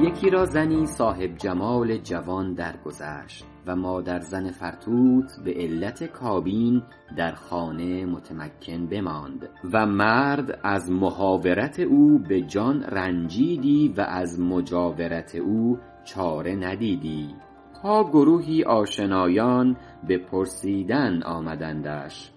یکی را زنی صاحب جمال جوان درگذشت و مادرزن فرتوت به علت کابین در خانه متمکن بماند و مرد از محاورت او به جان رنجیدی و از مجاورت او چاره ندیدی تا گروهی آشنایان به پرسیدن آمدندش